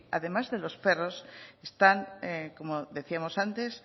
además de los perros están como decíamos antes